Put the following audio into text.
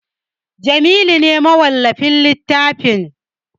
Jamilu ne mawallafin littafin